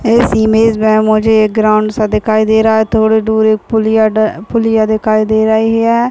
इस इमेज में मुझे एक ग्राउंड सा दिखाई दे रहा है थोड़ी दूर एक पुलिया पुलिया दिखाई दे रही है।